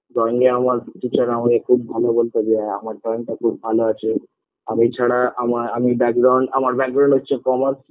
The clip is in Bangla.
drawing -এ আমাকে আমার teacher খুব ভালো বলত যে হ্যাঁ আমার drawing -টা খুব ভালো আছে আর এছাড়া আমি আমার হচ্ছে commerce